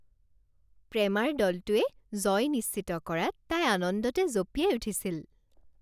প্ৰেমাৰ দলটোৱে জয় নিশ্চিত কৰাত তাই আনন্দতে জঁপিয়াই উঠিছিল